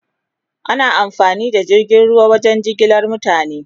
Ana amfani da jirgin ruwa wajen jigilar mutane